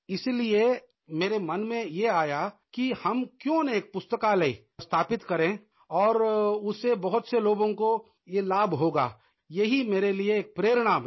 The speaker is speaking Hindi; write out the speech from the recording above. इसीलिये मेरे मन में ये आया कि हम क्यों ना एक पुस्तकालय स्थापित करें और उससे बहुत से लोगों को ये लाभ होगा यही मेरे लिये एक प्रेरणा बनी